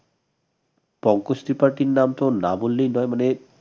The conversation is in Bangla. পঙ্কজ ত্রিপাঠির নাম তো না বললেই নয় মানে